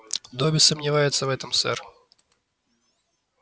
добби сомневается в этом сэр